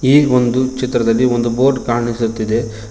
ಈ ಒಂದು ಚಿತ್ರದಲ್ಲಿ ಒಂದು ಬೋರ್ಡ್ ಕಾಣಿಸುತ್ತಿದೆ.